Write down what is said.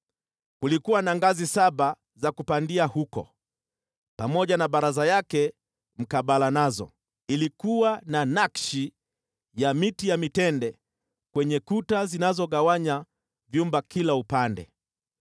Kulikuwa na ngazi saba za kupandia huko, pamoja na baraza yake mkabala nazo. Ilikuwa na nakshi za miti ya mitende kwenye kuta zilizogawanya vyumba kila upande.